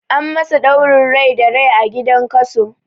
An masu ɗaurin rai da rai a gidan kaso